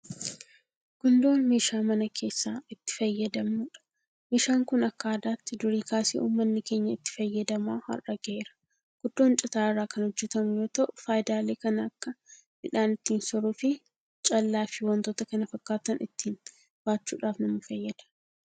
Gundoon meeshaa mana keessaa itti fayyadamnudha. Meeshaan kun akka aadaatti durii kaasee uummanni keenya itti fayyadamaa har'a gaheera. Gundoon citaa irraa kan hojjetamu yoota'u fayidaalee kan akka midhaan ittiin soruufi callaafi waantota kana fakkaataan ittiin baachuudhaaf nama fayyada.